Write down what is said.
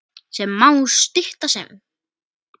sem má stytta sem